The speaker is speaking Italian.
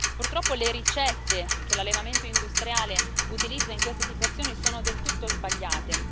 Purtroppo le ricette che l'allevamento industriale utilizza in queste situazioni sono del tutto sbagliate.